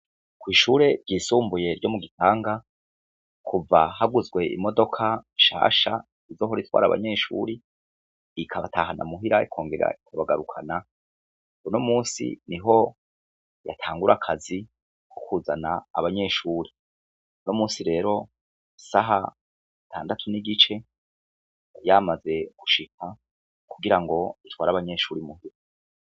Ko'ishure ryisumbuye ryo mu gitanga kuva haguzwe imodoka shasha izohoritwara abanyeshuri ikabatahana muhira ikongera ikabagarukana buno musi ni ho yatangura akazi koukuzana abanyeshuri no musi rero saha ndatu n'igice ryamaze gushika kugira ngo ntware abanyenshuri muhutu.